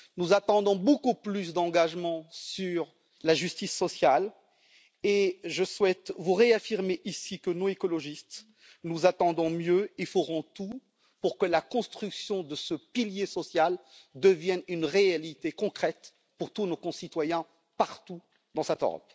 Nous attendons beaucoup plus d'engagement sur la justice sociale, et je souhaite vous réaffirmer ici que nous, écologistes, nous attendons mieux et ferons tout pour que la construction de ce pilier social devienne une réalité concrète pour tous nos concitoyens partout en Europe.